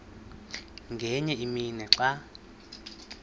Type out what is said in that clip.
ngenye imini xa